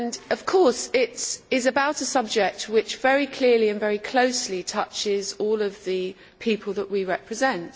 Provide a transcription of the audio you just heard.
Of course it is about a subject which very clearly and very closely concerns all of the people that we represent.